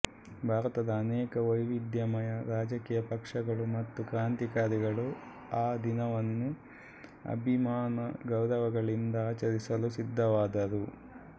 ಭಾರತದ ಅನೇಕ ವೈವಿಧ್ಯಮಯ ರಾಜಕೀಯ ಪಕ್ಷಗಳು ಮತ್ತು ಕ್ರಾಂತಿಕಾರಿಗಳು ಆ ದಿನವನ್ನು ಅಭಿಮಾನ ಗೌರವಗಳಿಂದ ಆಚರಿಸಲು ಸಿದ್ಧವಾದರು